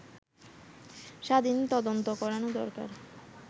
স্বাধীন তদন্ত করানো দরকার